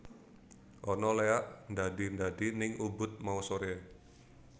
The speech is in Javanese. Ana leak ndadi ndadi ning Ubud mau sore